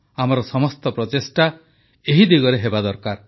ଆମର ସମସ୍ତ ପ୍ରଚେଷ୍ଟା ଏହି ଦିଗରେ ହେବା ଦରକାର